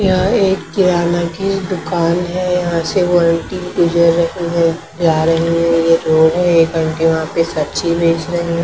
यहां एक किराना की दुकान है यहां से वो अंटी जा रही है ये रोड है एक अंटी वहां पे सब्जी बेच रही है।